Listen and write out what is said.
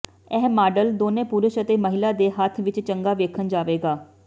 ਇਹ ਮਾਡਲ ਦੋਨੋ ਪੁਰਸ਼ ਅਤੇ ਮਹਿਲਾ ਦੇ ਹੱਥ ਵਿੱਚ ਚੰਗਾ ਵੇਖਣ ਜਾਵੇਗਾ